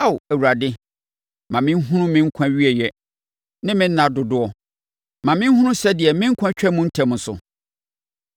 “Ao Awurade, ma menhunu me nkwa awieeɛ ne me nna dodoɔ; ma menhunu sɛdeɛ me nkwa twa mu ntɛm so.